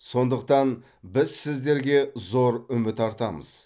сондықтан біз сіздерге зор үміт артамыз